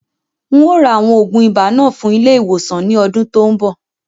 Ń o ra àwọn oògùn ibà fún ilé ìwòsàn náà ni ọdún tòun bọ̀